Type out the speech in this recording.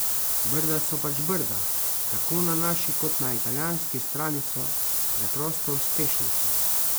Brda so pač Brda, tako na naši kot na italijanski strani so preprosto uspešnica.